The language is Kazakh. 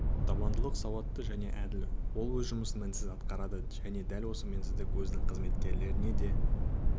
табандылық сауатты және әділ ол өз жұмысын мінсіз атқарады және дәл сол мінсіздікті өзінің қызметкерлерінен де